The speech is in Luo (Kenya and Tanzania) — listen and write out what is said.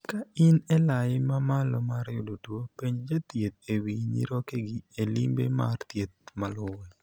Ka in elai ma malo mar yudo tuo, penj jathieth e wii nyirokegi e limbe mar thieth maluwe.